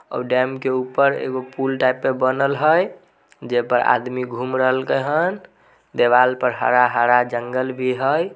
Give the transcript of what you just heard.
--और डेम के ऊपर एगो पुल टाइप भी बनल है जेई पर आदमी घूम रहल के हैन देवाल पर हरा-हरा जंगल भी है।